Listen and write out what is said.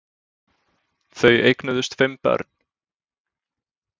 Þau eignuðust fimm börn.